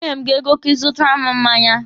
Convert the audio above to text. E nyere m gị ego ị zụtara m mmanya.